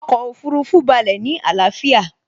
Ọkọ̀ Òfurufú balẹ̀ ní àlàáfíà